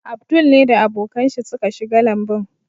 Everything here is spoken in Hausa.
Abdul ne da abokan shi suka shiga lambun.